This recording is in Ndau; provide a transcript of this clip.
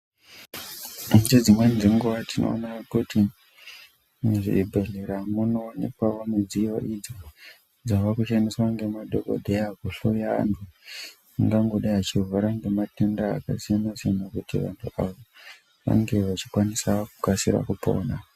Pane dzimweni dzenguva tinoona kuti muzvibhehleya munoonekwawo midziyo idzo dzava kushandiswa ngemadhokodheya kuhloya anhu angangodai achirwara ngematenda akasiyanasiyana kuitira vanhu ava vange vachikasika kupona.